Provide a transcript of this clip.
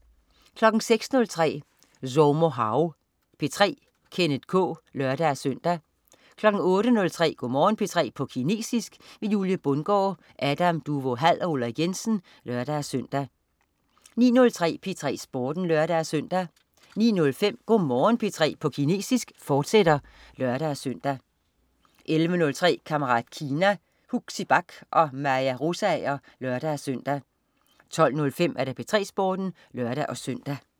06.03 Zhoumo hao P3. Kenneth K (lør-søn) 08.03 Go' Morgen P3 på kinesisk. Julie Bundgaard, Adam Duvå Hall og UIrik Jensen (lør-søn) 09.03 P3 Sporten (lør-søn) 09.05 Go' Morgen P3 på kinesisk, fortsat (lør-søn) 11.03 Kammerat Kina. Huxi Bach og Maja Rosager (lør-søn) 12.05 P3 Sporten (lør-søn)